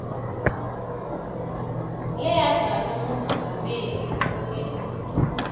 leyadlalwa ngumengameli wangembili